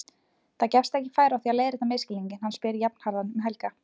Það gefst ekki færi á að leiðrétta misskilninginn, hann spyr jafnharðan um Helga.